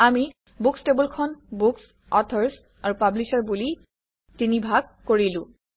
আমি বুকচ্ টেবুলখন books authors আৰু পাব্লিশ্বাৰ বুলি ৩ ভাগ কৰিলো